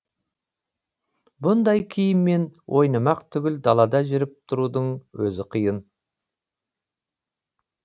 бұндай киіммен ойнамақ түгіл далада жүріп тұрудың өзі қиын